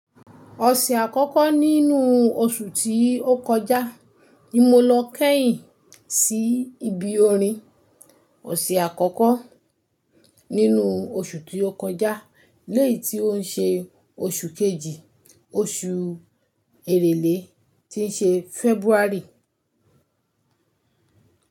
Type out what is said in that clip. Ọ̀sẹ̀ àkọ́kọ́ nínú oṣù tí ó kọjá ni mo lọ kẹ́yìn sí ibi orin. Ọ̀sẹ̀ àkọ́kọ́ nínú oṣù tí ó kọjá léyìí tí ó ń ṣe oṣù kejì, oṣù Èrèlé tí ń ṣe February.